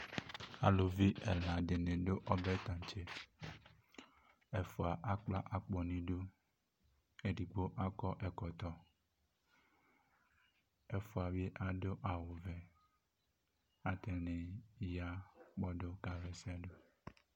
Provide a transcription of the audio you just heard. Alʋvi ɛla dini dʋ ɔbɛ tantse ɛfʋa akpla akpo nʋ idʋ edigbo akɔ ɛkɔtɔ ɛfʋa bi adʋ awʋvɛ atani ya kpɔdʋ kaxa ɛsɛdʋ